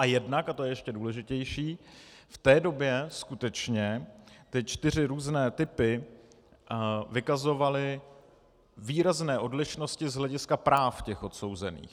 A jednak, a to je ještě důležitější, v té době skutečně ty čtyři různé typy vykazovaly výrazné odlišnosti z hlediska práv těch odsouzených.